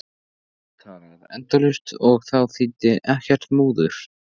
Hann gat talað endalaust og þá þýddi ekkert múður.